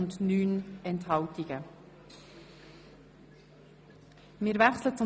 BDP (Luginbühl-Bachmann, Krattigen)